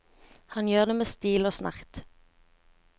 Han gjør det med stil og med snert.